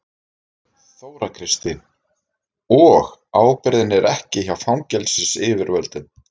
Þóra Kristín: Og ábyrgðin er ekki hjá fangelsisyfirvöldum?